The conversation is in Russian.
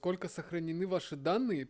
сколько сохранены ваши данные